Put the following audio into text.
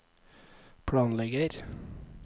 planlegger